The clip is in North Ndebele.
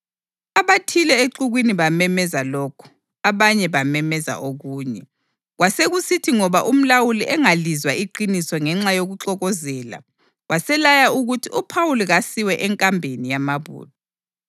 Abathile exukwini bamemeza lokhu, abanye bamemeza okunye, kwasekusithi ngoba umlawuli engalizwa iqiniso ngenxa yokuxokozela waselaya ukuthi uPhawuli kasiwe enkambeni yamabutho.